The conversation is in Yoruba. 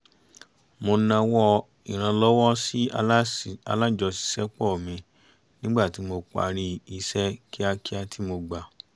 mo nawọ́ ìrànlọ́wọ́ sí alájọṣiṣẹ́pọ̀ mi nígbà tí mo parí iṣẹ́ kíákíá tí mo gbà